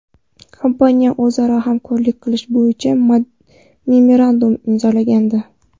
kompaniyasi o‘zaro hamkorlik qilish bo‘yicha memorandum imzolagandi .